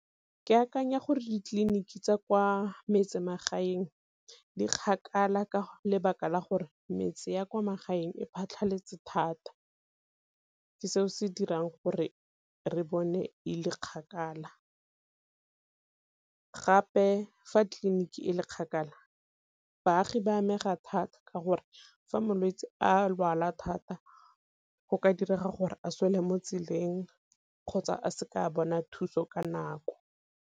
Ke akanya gore ditleliniki tsa kwa metsemagaeng di kgakala ka lebaka la gore metse ya kwa magaeng e phatlhaletse thata, ke se o se dirang gore re bone e le kgakala. Gape fa tleliniki e le kgakala baagi ba amega thata ka gore fa molwetsi a lwala thata go ka direga gore a swele mo tseleng kgotsa a se ka a bona thuso ka nako.